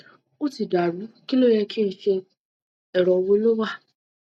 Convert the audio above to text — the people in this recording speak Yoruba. ó ti dà rú kí ló yẹ ki n ṣe ero wo ló wà